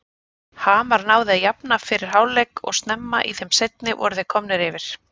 Hamar náði að jafna fyrir hálfleik og snemma í þeim seinni voru þeir komnir yfir.